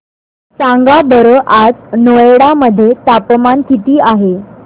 सांगा बरं आज नोएडा मध्ये तापमान किती आहे